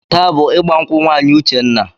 Taa bụ ịgba nkwụ nwaanyị Uchenna.